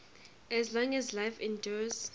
as long as life endures